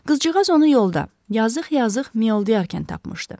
Qızcığaz onu yolda, yazıq-azıq miyoldayarkən tapmışdı.